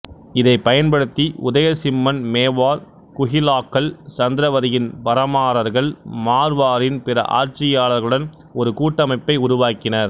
இதைப் பயன்படுத்தி உதயசிம்மன் மேவார் குஹிலாக்கள் சந்திரவதியின் பரமாரர்கள் மார்வாரின் பிற ஆட்சியாளர்களுடன் ஒரு கூட்டமைப்பை உருவாக்கினார்